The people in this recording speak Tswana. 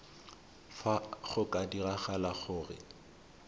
fa go ka diragala gore